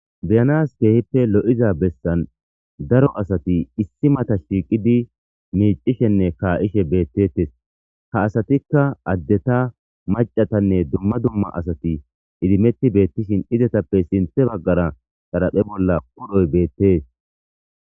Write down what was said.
beyanas keehippe lo7iza bessan daro asati issi mata shiiqidi miicishenne kaa7ishe beettettes ha asatikka addeta macatanne dumma dumma asati idimetti beettishin izetappe sinthe baggara xaraphe bolla udhoy beettes